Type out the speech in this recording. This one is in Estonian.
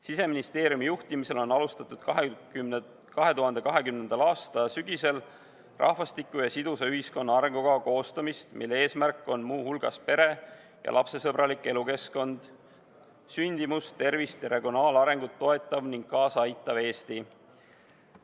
Siseministeeriumi juhtimisel on 2020. aasta sügisel alustatud rahvastiku ja sidusa ühiskonna arengukava koostamist, mille eesmärgid on muu hulgas pere- ja lapsesõbralik elukeskkond, suuremat sündimust, tervist ja regionaalarengut toetav ning kaasa aitav Eesti.